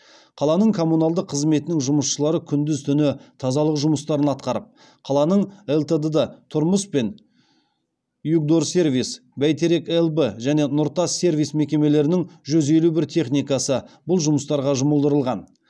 қаланың коммуналдық қызметінің жұмысшылары күндіз түні тазалық жұмыстарын атқарып қаланың лтд тұрмыс пен югдорсервис бәйтерек лб және нұртас сервис мекемелерінің жүз елу бір техникасы бұл жұмыстарға жұмылдырылған